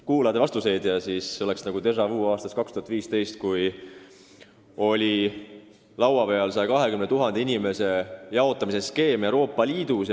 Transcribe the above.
Kuulad siin vastuseid ja on tunne, et oleks nagu déjà-vu aastast 2015, kui oli laua peal Euroopa Liidus 120 000 inimese jaotamise skeem.